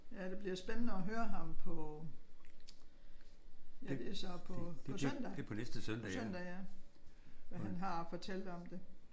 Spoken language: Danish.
Ja det bliver spændende at høre ham på ja det er så på på søndag. På søndag ja. Hvad han har at fortælle om det